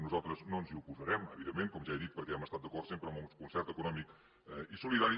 nosaltres no ens hi oposarem evidentment com ja he dit perquè hem estat d’acord sempre amb un concert econòmic i solidari